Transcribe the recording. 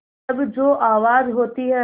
तब जो आवाज़ होती है